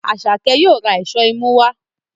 Asake yóò rà Èṣó imú wá.